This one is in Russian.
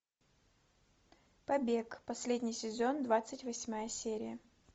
побег последний сезон двадцать восьмая серия